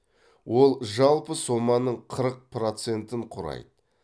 ол жалпы соманың қырық процентін құрайды